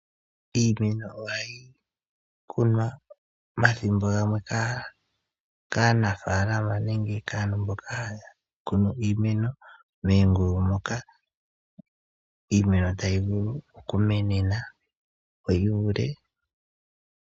Iimeno oha yi kunwa mathimbo gamwe kaanafaalama, nenge kaantu mboka haya kunu iimeno meengulu moka iimeno ta yi vulu oku menena opo yi ivule.